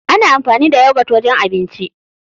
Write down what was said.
Ana anfani da yagot wajen abinci.